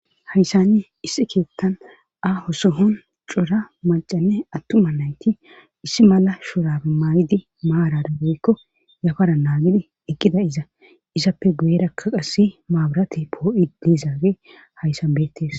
Hayssanne issi keettan a hoso hon cora macanne attuma nayti issi mala shurabe maay7idi maarara goykko yafara naagidi eqqida iza izappe guyerakkaqassi maaburate poo7i diizaage hayssa beettees